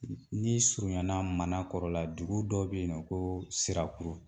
Ni surunyana Manakɔrɔ la dugu dɔ bɛ yen nɔ ko Sirakuru